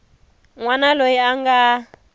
n wana loyi a nga